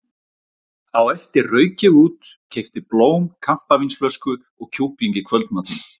Á eftir rauk ég út, keypti blóm, kampavínsflösku og kjúkling í kvöldmatinn.